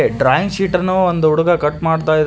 drawing ಶೀಟನ್ನು ಒಂದು ಹುಡುಗ ಕಟ್ ಮಾಡ್ತಾಯಿ--